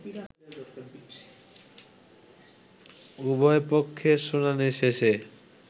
উভয় পক্ষের শুনানি শেষে